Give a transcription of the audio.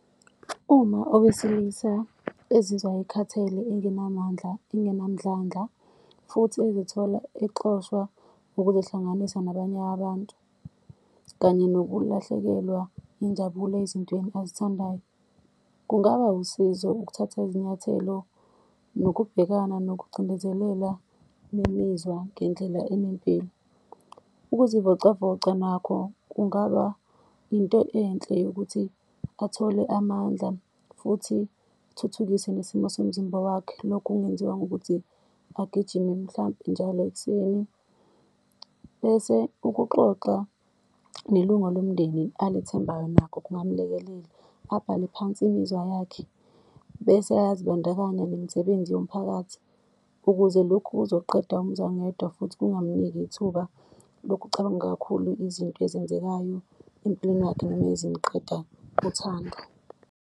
Uma owesilisa ezizwa ekhathele, engenamandla, angenamdlandla, futhi ezithola exoshwa ukuzihlanganisa nabanye abantu, kanye nokulahlekelwa injabulo ezintweni azithandayo. Kungaba usizo ukuthatha izinyathelo nokubhekana nokucindezelela nemizwa ngendlela enempilo. Ukuzivocavoca nakho kungaba into enhle yokuthi athole amandla, futhi kuthuthukise nesimo somzimba wakhe. Lokhu kungenziwa ngokuthi agijime mhlampe njalo ekuseni, bese ukuxoxa nelunga lomndeni alethembayo nakho kungamlekelela, abhale phansi imizwa yakhe. Bese ayazibandakanya nemisebenzi yomphakathi ukuze lokhu kuzoqeda umzwangedwa futhi kungamniki ithuba lokucabanga kakhulu izinto ezenzekayo empilweni yakhe, noma ezimqeda uthando.